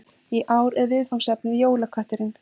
Í ár er viðfangsefnið Jólakötturinn